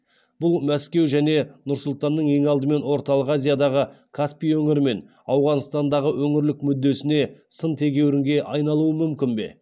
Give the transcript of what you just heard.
бұл мәскеу және нұр сұлтанның ең алдымен орталық азиядағы каспий өңірі мен ауғанстандағы өңірлік мүддесіне сын тегеуірінге айналуы мүмкін бе